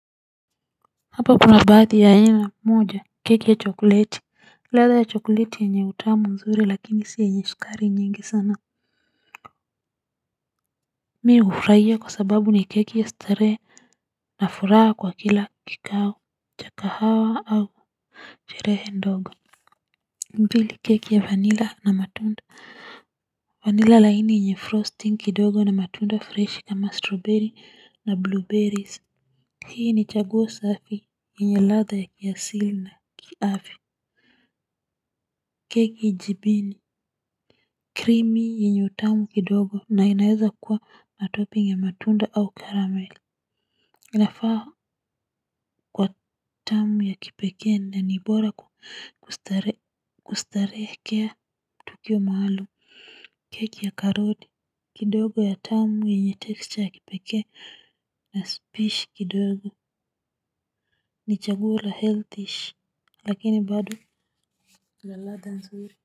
Hapa kuna baadhi ya aina moja keki ya chokoleti ladha ya chokoleti yenye utamu mzuri lakini si yenye sukari nyingi sana mimi hufurahia kwa sababu ni keki ya starehe na furaha kwa kila kikao cha kahawa au sherehe ndogo mbili keki ya vanila na matunda vanila laini yenye frosting kidogo na matunda fresh kama strawberry na blueberries hii ni chaguo safi yenye ladha ya kiasili na kiafya keki jibini Krimi yenye utamu kidogo na inaweza kuwa na toping ya matunda au karamel. Inafaa kwa tamu ya kipekee na ni bora kustarehekea tukio maaalum. Keki ya karodi kidogo ya tamu yenye texture ya kipekee na spish kidogo ni chagula healthish lakini bado la ladhanzuri. Muziki.